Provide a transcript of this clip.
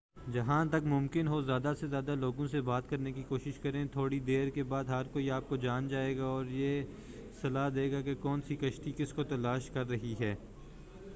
جہاں تک ممکن ہو زیادہ سے زیادہ لوگوں سے بات کرنے کی کوشش کریں تھوڑی دیر کے بعد ہر کوئی آپ کو جان جائے گا اور یہ صلاح دے گا کہ کون سی کشتی کس کو تلاش کر رہی ہے